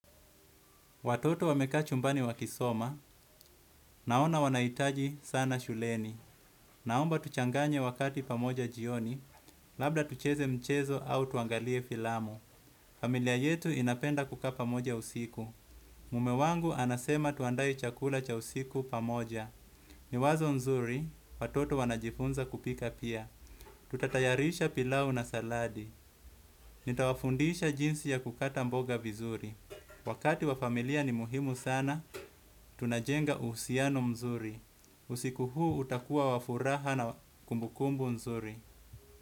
Watoto wameka chumbani wakisoma, naona wanaitaji sana shuleni. Naomba tuchanganye wakati pamoja jioni, labda tucheze mchezo au tuangalie filamu. Familia yetu inapenda kuka pamoja usiku. Mume wangu anasema tuandae chakula cha usiku pamoja. Ni wazo nzuri, watoto wanajifunza kupika pia. Tutatayarisha pilau na saladi. Nitawafundisha jinsi ya kukata mboga vizuri. Wakati wa familia ni muhimu sana, tunajenga uhusiano mzuri. Usiku huu utakuwa wafuraha na kumbukumbu nzuri.